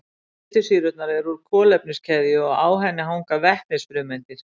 Fitusýrurnar eru úr kolefniskeðju og á henni hanga vetnisfrumeindir.